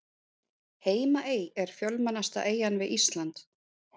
Heimaey er fjölmennasta eyjan við Ísland.